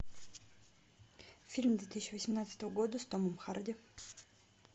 фильм две тысячи восемнадцатого года с томом харди